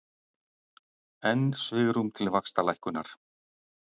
Enn svigrúm til vaxtalækkunar